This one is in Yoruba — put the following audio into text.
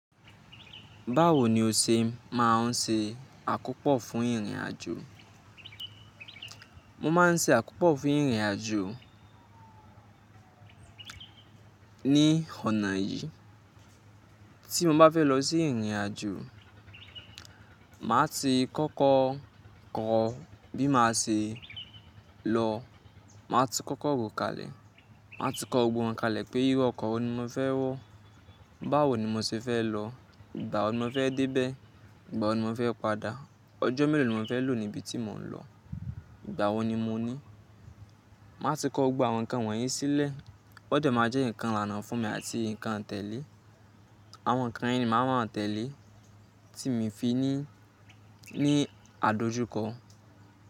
Báwo ni o ṣe máa ń ṣe àkópọ̀ fún ìrìnàjò? Mo máa ń ṣe àkópọ̀ fún ìrìnàjò ní ọ̀nà yìí. Tí mo bá fẹ́ lọ sí ìrìnàjò, màá ti kọ́kọ́ kọ bí màá ṣe lọ. Màá ti kọ́kọ́ ro kalẹ̀. Màá ti kọ gbogbo wọn kalẹ̀ pé irú ọkọ̀ wo ni mo fẹ́ wọ̀, báwo ni mo ṣe fẹ́ lọ, ìgbà wo ni mo fẹ́ dé bẹ́ẹ̀, ìgbà wo ni mo fẹ́ padà, ọjọ́ mélòó ni mo fẹ́ lò níbi tí mò ń lọ, ìgbà wo ni mo ní. Màá ti kọ gbogbo àwọn nǹkan wọ̀nyí sílẹ̀. Ó dẹ máa jẹ́ ǹkan ìlànà fún mi àti ǹkan tẹ̀lé. Àwọn ǹkan yen ni máa ma tẹ̀lé tí mo fi ní, ní àdojúkọ.